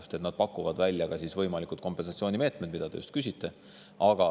Eksperdid pakuvad välja võimalikud kompensatsioonimeetmed, mille kohta te just küsisite.